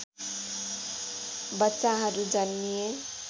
बच्चाहरू जन्मिए